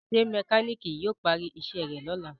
ṣe mekaniki yíò pari iṣé rẹ lọla?